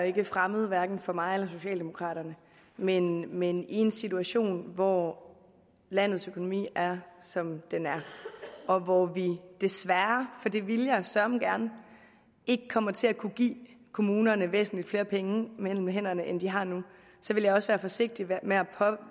ikke er fremmed hverken for mig eller socialdemokraterne men men i en situation hvor landets økonomi er som den er og hvor vi desværre for det ville jeg søreme gerne ikke kommer til at kunne give kommunerne væsentligt flere penge mellem hænderne end de har nu vil jeg også være forsigtig